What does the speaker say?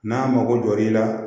N'a mago l'i la